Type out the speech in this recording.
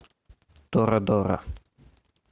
торадора